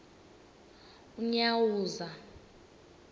unyawuza